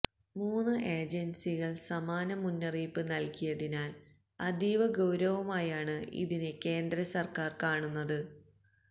മൂന്ന് ഏജൻസികൾ സമാന മുന്നറിയിപ്പ് നൽകിയതിനാൽ അതീവ ഗൌരവമായാണ് ഇതിനെ കേന്ദ്രസർക്കാർ കാണുന്നത്